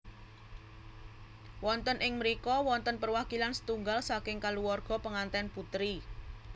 Wonten ing mrika wonten perwakilan setunggal saking kaluwarga pengantèn putri